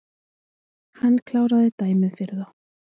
Hann kláraði dæmið fyrir þá